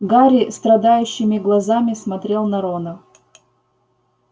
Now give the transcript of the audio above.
гарри страдающими глазами смотрел на рона